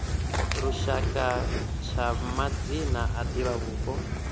lushaka tsha madzina a divhavhupo